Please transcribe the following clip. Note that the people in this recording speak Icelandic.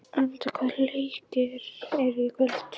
Aníta, hvaða leikir eru í kvöld?